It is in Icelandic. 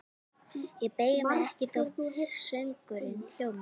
Ég beygi mig ekki þótt söngurinn hljómi: